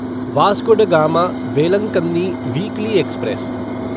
Vasco da Gama Velankanni weekly express